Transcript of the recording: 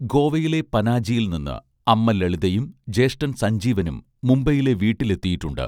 ഗോവയിലെ പനാജിയിൽ നിന്ന് അമ്മ ലളിതയും ജ്യേഷ്ഠൻ സജ്ഞീവനും മുംബൈയിലെ വീട്ടിലെത്തിയിട്ടുണ്ട്